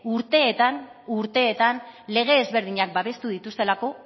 urteetan urteetan lege ezberdinak babestu dituztelako